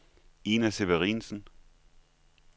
Ina Severinsen